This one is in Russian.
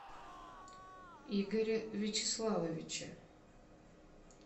игоря вячеславовича